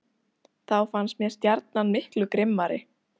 Þá fannst mér Stjarnan miklu grimmari.